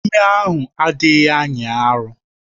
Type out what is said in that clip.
Ime ahụ adịghị anya arọ